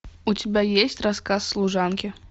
у тебя есть рассказ служанки